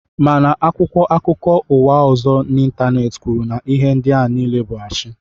Mana akwụkwọ akụkọ ụwa ọzọ n'Ịntaneeti kwuru na ihe ndịa nile bụ ashi